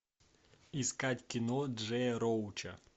искать кино джея роуча